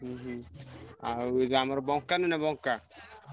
ହୁଁ ହୁଁ ଆମର ବଙ୍କା ନୁହ ବଙ୍କା।